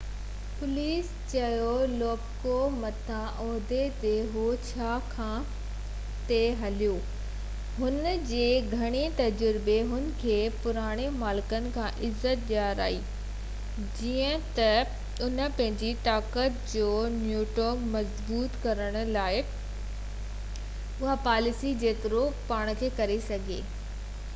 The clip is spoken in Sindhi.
پوليس چيو لو پڪولو مٿيئن عهدي تي هو ڇاڪاڻ تہ هي پلرمو ۾ پرووينزانو جو خاص ماڻهو هو ۽ هن جي گهڻي تجربي هن کي پراڻن مالڪن کان عزت ڏيرائي جيئن تہ انهن پنهنجي طاقت جو نيٽورڪ مضبوط ڪرڻ دوران پرووينزانو جي پاليسي جيترو ٿي سگهي پنهنجي پاڻ کي هيٺ رکو تي عمل ڪيو